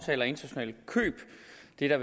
det er